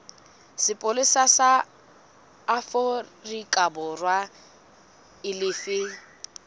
sepolesa sa aforikaborwa e lefe